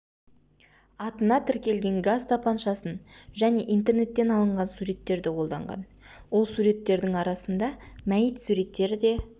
атына тіркелген газ тапаншасын және интернеттен алынған суреттерді қолданған ол суреттердің арасында мәйіт суреттері де